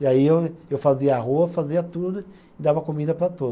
E aí eu, eu fazia arroz, fazia tudo e dava comida para todos.